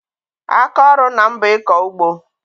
Aka ọrụ ńnà m bụ ịkọ ụgbọ.